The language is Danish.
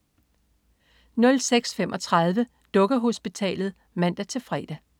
06.35 Dukkehospitalet (man-fre)